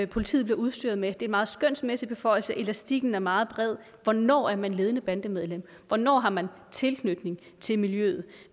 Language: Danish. politiet bliver udstyret med det er en meget skønsmæssig beføjelse elastikken er meget bred hvornår er man ledende bandemedlem hvornår har man tilknytning til miljøet